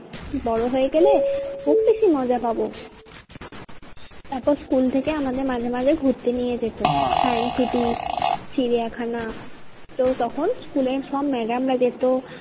বড়ো হয়ে গেলে খুব বেশি মজা পাবো। তারপর school থেকে আমাদের মাঝে মাঝে ঘুরতে নিয়ে যেত science city চিড়িয়া খানা তখন school এর সব madam রা যেত